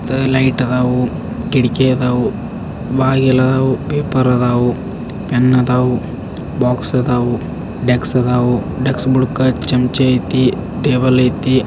ಆಹ್ಹ್ light ಅದಾವು ಕಿಟಕಿ ಆದವು ಬಾಗಿಲ್ ಅದಾವು ಪೇಪರ್ ಅದಾವು ಪೆನ್ನ್ ಅದಾವು ಬಾಕ್ಸ್ ಅದಾವ್ ಡೆಸ್ಕ್ ಅದವ್ ಡೆಸ್ಕ್ ಬುಡಕ ಚಮಚೆ ಐತಿ. ಟೇಬಲ್ ಐತಿ.